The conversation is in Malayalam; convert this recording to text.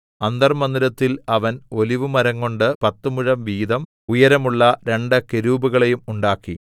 അന്തർമ്മന്ദിരത്തിൽ അവൻ ഒലിവുമരംകൊണ്ട് പത്ത് മുഴം വീതം ഉയരമുള്ള രണ്ട് കെരൂബുകളെയും ഉണ്ടാക്കി